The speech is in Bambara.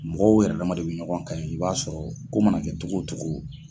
Mɔgɔw yɛrɛ dama de bɛ ɲɔgɔn kan yen i b'a sɔrɔ ko mana kɛ cogo cogo